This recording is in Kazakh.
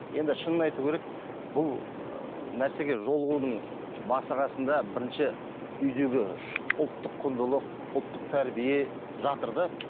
енді шынын айту керек бұл ы нәрсеге жолығудың басы қасында бірінші үйдегі ұлттық құндылық ұлттық тәрбие жатыр да